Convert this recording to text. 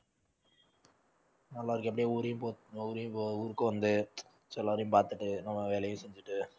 நல்லா இருக்கு அப்படியே ஊரயும் போ~ ஊரயும் போ~ ஊருக்கு வந்து எல்லாரையும் பார்த்துட்டு நம்ம வேலையும் செஞ்சுட்டு